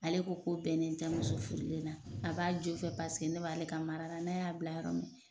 Ale ko ko tɛ ne terimuso furulen na . A b'a jofɛ paseke ne b'ale ka marala n'a y'a bila yɔrɔ min na